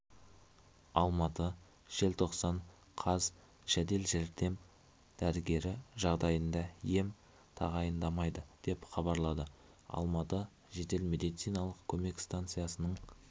алматы желттоқсан қаз жедел дәрдем дәрігері жағдайында ем тағайындамайды деп хабарлады алматы жедел медициналық көмек станциясының